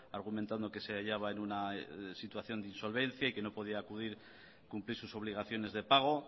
argumentando que se hallaba en una situación de insolvencia y que no podía cumplir sus obligaciones de pago